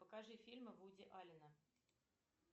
покажи фильмы вуди аллена